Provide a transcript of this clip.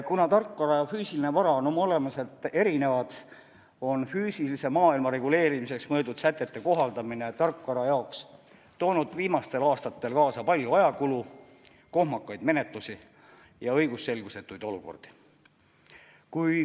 Kuna tarkvara ja füüsiline vara on oma olemuselt erinevad, on füüsilise maailma reguleerimiseks mõeldud sätete kohaldamine tarkvara jaoks toonud viimastel aastatel kaasa palju ajakulu, kohmakaid menetlusi ja õigusselgusetuid olukordi.